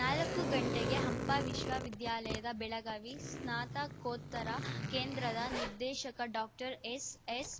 ನಾಲ್ಕು ಗಂಟೆಗೆ ಹಂಪ ವಿಶ್ವವಿದ್ಯಾಲಯದ ಬೆಳಗಾವಿ ಸ್ನಾತಕೋತ್ತರ ಕೇಂದ್ರದ ನಿರ್ದೇಶಕ ಡಾಕ್ಟರ್ ಎಸ್ ಎಸ್